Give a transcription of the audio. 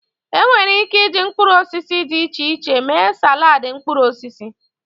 Enwere Ike iji mkpuruosisi di iche iche mee salaadi mkpuruosisi.